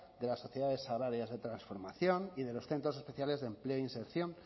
de las sociedades agrarias de transformación y de los centros especiales de empleo e inserción